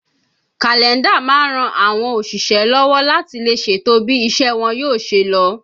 Kàlẹ́ndà máa ń ran àwọn òṣìṣẹ́ lọ́wọ́ láti lè ṣètò bí iṣẹ́ wọn yóò ṣe lọ